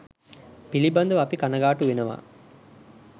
පිළිබඳව අපි කණගාටු වෙනවා.